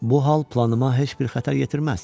Bu hal planıma heç bir xətər yetirməz.